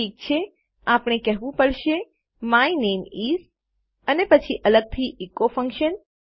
ઠીક છે આપણે કેહવું પડશે માય નામે ઇસ અને પછી અલગથી એકો ફન્કશન